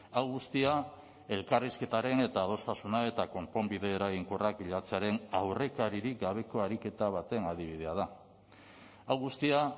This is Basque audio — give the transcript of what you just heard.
hau guztia elkarrizketaren eta adostasuna eta konponbide eraginkorrak bilatzearen aurrekaririk gabeko ariketa baten adibidea da hau guztia